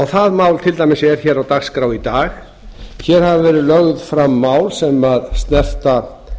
það mál til dæmis er hér á dagskrá í dag hér hafa verið lögð fram mál sem snerta